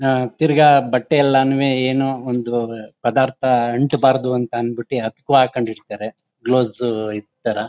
ಹ ತಿರ್ಗ ಬಟ್ಟೆ ಎಲ್ಲಾನುವೇ ಏನೋ ಒಂದು ಪದಾರ್ಥ ಅಂಟಬಾರದು ಅಂತ ಅನ್ ಬಿಟ್ಟು ಹಾಕ್ಕೊಂಡಿರ್ತಾರೆ ಗ್ಲೋಸ್ಸ್ ಇದ್ ತರ.